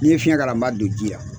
Ni n ye fiɲɛ k'a la n ma don ji la.